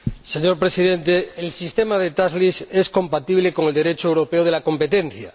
Señor Presidente, el sistema de es compatible con el Derecho europeo de la competencia.